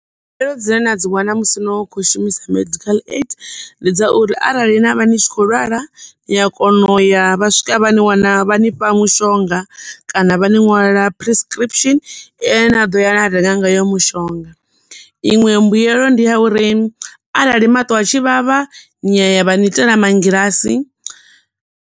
Mbuyelo dzine na dzi wana musi no khou shumisa medical aid ndi dza uri arali na vha ni tshi khou lwala ni a kona uya vha swika vha ni wana, vha nifha mushonga kana vha ni ṅwalela prescription ye na ḓo ya na renga ngayo mushonga. Inwe mbuyelo ndi ya uri arali maṱo a tshi vhavha ni ya ya vha ni itela mangilasi.